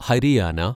Haryana